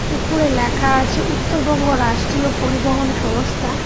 উপরে লেখা আছে উত্তরবঙ্গ রাষ্ট্রীয় পরিবহন সংস্থা।